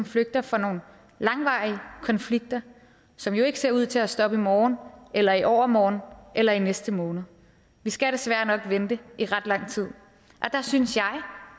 flygter fra nogle langvarige konflikter som jo ikke ser ud til at stoppe i morgen eller i overmorgen eller i næste måned vi skal desværre nok vente i ret lang tid der synes jeg